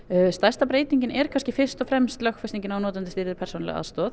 stærsta breytingin er kannski fyrst og fremst lögfestingin á notendastýrðri persónulegri aðstoð